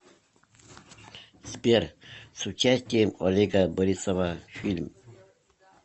сбер с участием олега борисова фильм